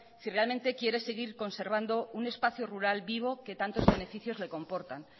si realmente quiere seguir conservando un espacio rural vivo que tanto beneficios le comportan